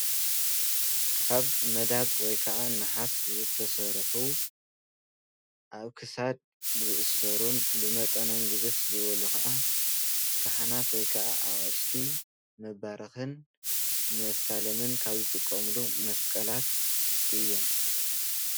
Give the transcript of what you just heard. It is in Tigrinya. ካብ መዳብ ወይከዓ ነሓስ ዝተሰርሑ ኣብ ክሳድ ዝእሰሩን ብመጠኖም ግዝፍ ዝበሉ ከዓ ካህናት ወይከዓ ኣቅሽቲ መባረክን መሳለምን ካብ ዝጥቀምሎም መስቀላት እዮም።